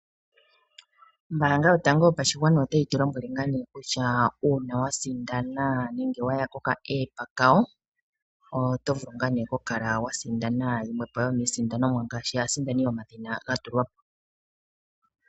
Ombaanga yotango yopashigwana otayi tu lombwele kutya uuna wasindana nenge waya kokapandja kayo komauyelele oto vulu kukala wa sindana yimwe yomiisindanomwa ngaashi aasindani yomadhina gatulwa po.